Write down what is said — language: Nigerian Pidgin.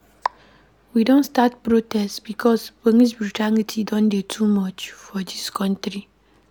We don start protest because police brutality don dey too much for dis country.